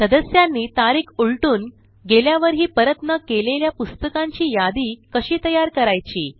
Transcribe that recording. सदस्यांनी तारीख उलटून गेल्यावरही परत न केलेल्या पुस्तकांची यादी कशी तयार करायची